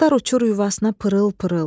Quşlar uçur yuvasına pırıl-pırıl.